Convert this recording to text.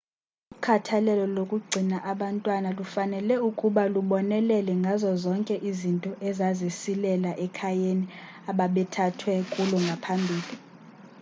ukhathalelo lokugcina abantwana kufanele ukuba lubonelele ngazo zonke izinto ezazisilela ekhayeni ababethathwe kulo ngaphambili